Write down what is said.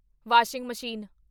washing machine